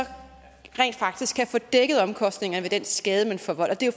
rent faktisk kan få dækket omkostningerne ved den skade man forvolder det er